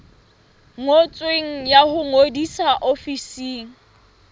ngotsweng ya ho ngodisa ofising